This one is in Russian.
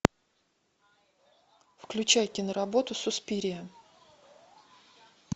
включай киноработу суспирия